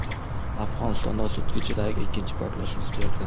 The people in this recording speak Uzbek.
Afg‘onistonda sutka ichidagi ikkinchi portlash yuz berdi.